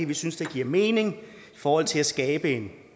vi synes giver mening i forhold til at skabe en